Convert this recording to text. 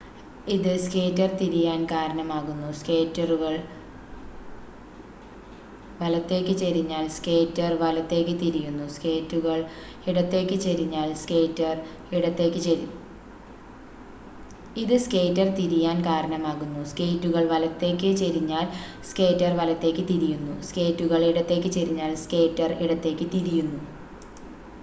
ഇത് സ്കേറ്റർ തിരിയാൻ കാരണമാകുന്നു സ്കേറ്റുകൾ വലത്തേക്ക് ചെരിഞ്ഞാൽ സ്കേറ്റർ വലത്തേക്ക് തിരിയുന്നു സ്കേറ്റുകൾ ഇടത്തേക്ക് ചെരിഞ്ഞാൽ സ്കേറ്റർ ഇടത്തേക്ക് തിരിയുന്നു